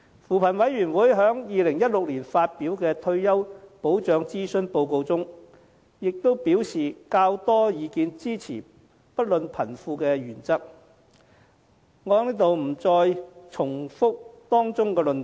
扶貧委員會在2016年發表的退休保障諮詢報告中亦表示較多意見支持"不論貧富"的原則，我不在此重複當中的論點。